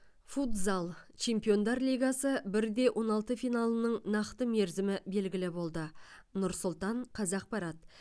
футзал чемпиондар лигасы бір де он алты финалының нақты мерзімі белгілі болды нұр сұлтан қазақпарат